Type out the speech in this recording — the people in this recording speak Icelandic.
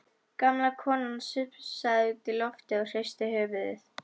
Gamla konan sussaði út í loftið og hristi höfuðið.